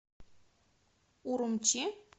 урумчи